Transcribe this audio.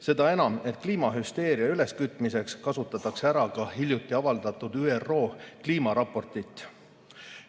Seda enam, et kliimahüsteeria üleskütmiseks kasutatakse ära ka hiljuti avaldatud ÜRO kliimaraportit.